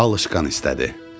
alışqan istədi.